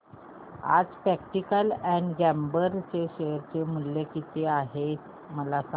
आज Procter and Gamble चे share मूल्य किती आहे मला सांगा